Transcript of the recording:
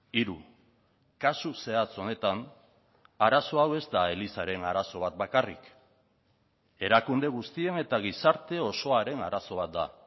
hiru kasu zehatz honetan arazo hau ez da elizaren arazo bat bakarrik erakunde guztien eta gizarte osoaren arazo bat da